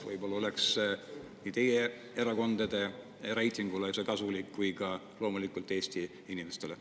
Võib-olla oleks see kasulik nii teie erakondade reitingule kui ka loomulikult Eesti inimestele.